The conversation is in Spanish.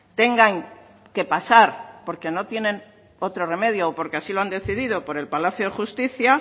tengan que pasar porque no tienen otro remedio o porque así lo han decidido por el palacio de justicia